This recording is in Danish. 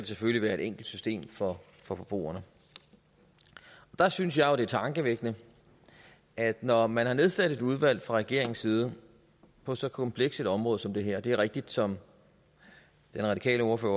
selvfølgelig være et enkelt system for forbrugerne der synes jeg jo at det er tankevækkende at når man har nedsat et udvalg fra regeringens side på så kompleks et område som det her det er rigtigt som den radikale ordfører